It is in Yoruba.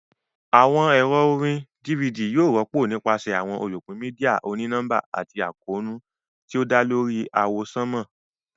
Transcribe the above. Awọn ẹrọ orín DVD yóò rọpo nipasẹ awọn olupin media òní nọmba ati àkóónú ti o dá lórí àwọsánmà.